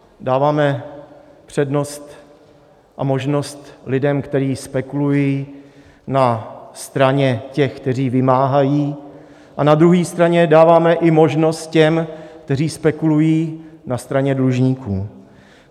Dáváme přednost a možnost lidem, kteří spekulují, na straně těch, kteří vymáhají, a na druhé straně dáváme i možnost těm, kteří spekulují na straně dlužníků.